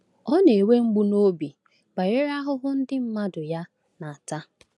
Ọ na-enwe mgbu n’obi banyere ahụhụ ndị mmadụ ya na-ata.